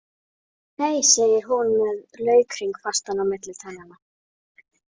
Nei, segir hún með laukhring fastan á milli tannanna.